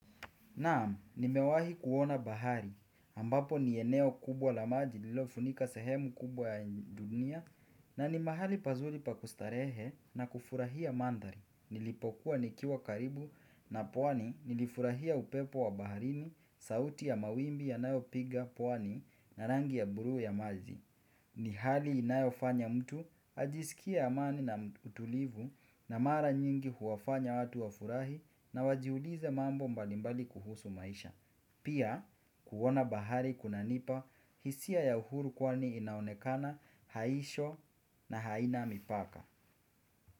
Naam, nimewahi kuona bahari, ambapo ni eneo kubwa la maji lilofunika sehemu kubwa ya dunia na ni mahali pazuli pakustarehe na kufurahia mandari. Nilipokuwa nikiwa karibu na pwani nilifurahia upepo wa baharini, sauti ya mawimbi yanayo piga pwani na rangi ya buluu ya maji. Ni hali inayofanya mtu, ajisikie amani na utulivu na mara nyingi huwafanya watu wafurahi na wajiulize mambo mbalimbali kuhusu maisha. Pia, kuona bahari kunanipa hisia ya uhuru kwani inaonekana haisho na haina mipaka.